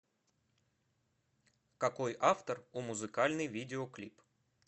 какой автор у музыкальный видеоклип